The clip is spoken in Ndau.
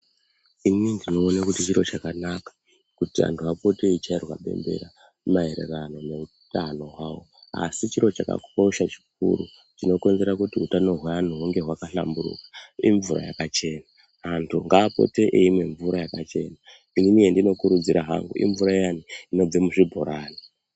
Inini ndinoone kuti chiro chakanaka kuti antu apote eichairwa bembera maererano neutano hwavo. Asi chiro chakakosha chikuru chinokonzera kuti utano hweantu hunge hwakahlamburuka imvura yakachena. Antu ngaapote eimwe mvura yakachena. Inini yendinokurudzira hangu imvura iyani inobva muzvibhorani.